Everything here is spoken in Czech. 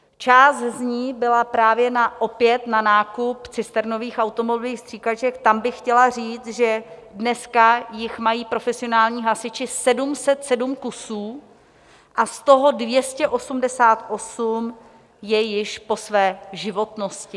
Část z ní byla právě opět na nákup cisternových automobilových stříkaček, tam bych chtěla říct, že dneska jich mají profesionální hasiči 707 kusů a z toho 288 je již po své životnosti.